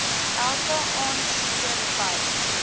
elke aansoeker by